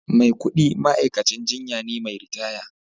Maikudi ma'aikacin jinya ne mai ritaya